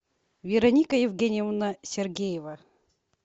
вероника евгеньевна сергеева